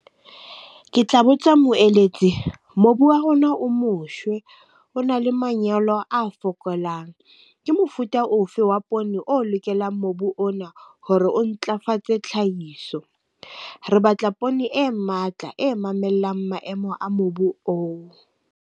Ke tla botsa moeletsi, mobu wa rona o moshwe, o na le manyolo a fokolang. Ke mofuta ofe wa poone o lokelang mobu ona hore o ntlafatse tlhahiso? Re batla poone e matla e mamellang maemo a mobu oo.